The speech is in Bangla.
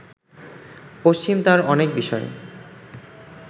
পশ্চিম তার অনেক বিষয়